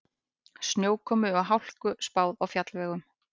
Snjókomu og hálku spáð á fjallvegum